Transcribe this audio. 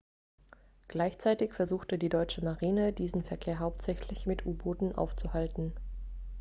gleichzeitig versuchte die deutsche marine diesen verkehr hauptsächlich mit u-booten aufzuhalten